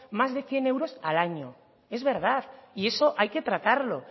más de cien euros al año es verdad y eso hay que tratarlo